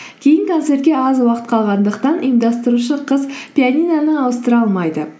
кейін концертке аз уақыт қалғандықтан ұйымдастырушы қыз пианиноны ауыстыра алмайды